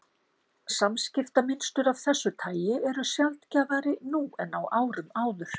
Samskiptamynstur af þessu tagi eru sjaldgæfari nú en á árum áður.